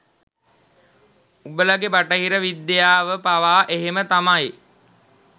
උඹලගෙ බටහිර විද්‍යාව පවා එහම තමයි